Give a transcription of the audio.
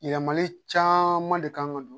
Yɛlɛmali caman de kan ka don